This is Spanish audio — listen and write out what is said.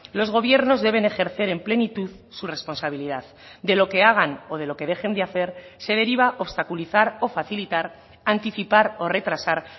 los gobiernos deben ejercer en plenitud su responsabilidad de lo que hagan o de lo que dejen de hacer se deriva obstaculizar o facilitar anticipar o retrasar